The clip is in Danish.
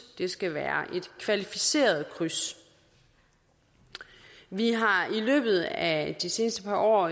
skal være et kvalificeret kryds vi har i løbet af de seneste par år